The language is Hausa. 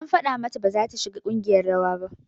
An faɗa mata baza ta shiga ƙungiyar rawa ba